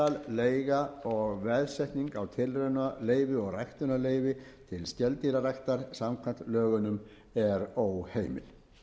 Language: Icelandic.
að framsal leiga og veðsetning á tilraunaleyfi og ræktunarleyfi til skeldýraræktar samkvæmt lögunum er óheimil